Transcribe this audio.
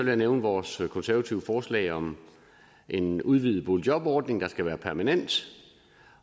jeg nævne vores konservative forslag om en udvidet boligjobordning der skal være permanent